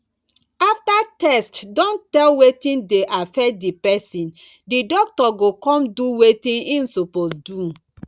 after tests don tell wetin dey affect di person di doctor go come do wetin im suppose do